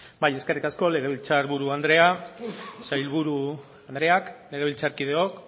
bai eskerrik asko legebiltzar buru andrea sailburu andreak legebiltzarkideok